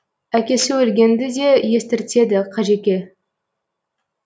әкесі өлгенді де естіртеді қажеке